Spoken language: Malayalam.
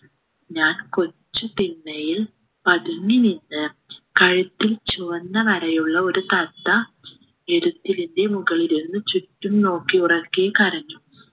ഞാൻ കൊച്ചു തിണ്ണയിൽ പതുങ്ങി നിന്ന് കഴുത്തിൽ ചുവന്ന വരയുള്ള ഒരു തത്ത ഇരുത്തിലിൻ്റെ മുകളിലിരുന്ന് ചുറ്റും നോക്കി ഉറക്കെ കരഞ്ഞു